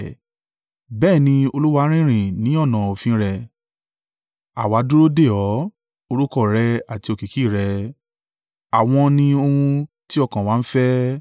Bẹ́ẹ̀ ni, Olúwa, rírìn ní ọ̀nà òfin rẹ àwa dúró dè ọ́; orúkọ rẹ àti òkìkí rẹ àwọn ni ohun tí ọkàn wa ń fẹ́.